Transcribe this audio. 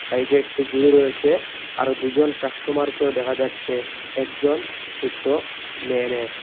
সাইডে একটি ঝুরি রয়েসে আরো দুজন কাস্টমারকেও দেখা যাচ্ছে একজন ছুটো মেয়ে মেয়ে।